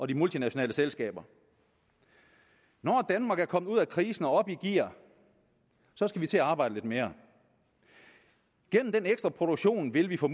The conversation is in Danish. de multinationale selskaber når danmark er kommet ud af krisen og op i gear skal vi til at arbejde lidt mere gennem den ekstra produktion vil vi få